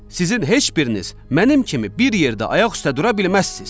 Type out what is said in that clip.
Sizin heç biriniz mənim kimi bir yerdə ayaq üstə dura bilməzsiz.